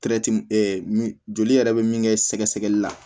joli yɛrɛ bɛ min kɛ sɛgɛsɛgɛli la